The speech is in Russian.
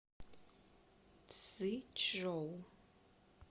цзичжоу